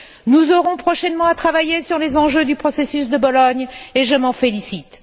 Nous aurons prochainement à travailler sur les enjeux du processus de Bologne et je m'en félicite.